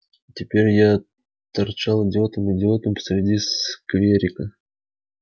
теперь я торчал идиотом идиотом посреди скверика